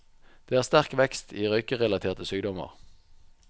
Det er sterk vekst i røykerelaterte sykdommer.